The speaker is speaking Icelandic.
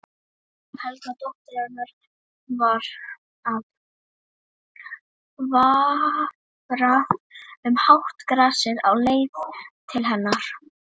Helga dóttir hennar var að vafra um hátt grasið á leið til hennar.